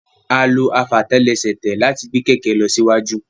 A lo efatelese láti gbet kẹkẹ lọ sí siwaju